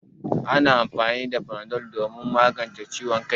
Ana amfani da fanadol domin magance ciwon kai.